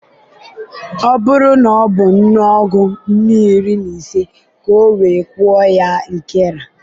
ọ buru na ọ bu nnù ọgu nnù iri-na-ise ka o we kwụọ ya nkera